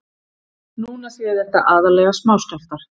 Núna séu þetta aðallega smáskjálftar